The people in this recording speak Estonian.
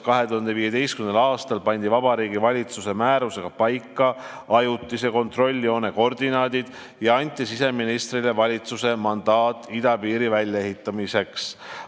2015. aastal pandi Vabariigi Valitsuse määrusega paika ajutise kontrolljoone koordinaadid ja anti siseministrile valitsuse mandaat idapiiri väljaehitamiseks.